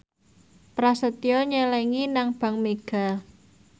Prasetyo nyelengi nang bank mega